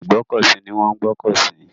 Ibi ìgbọ́kọ̀ sí ni wọ́n ń gbọ́kọ̀ sí.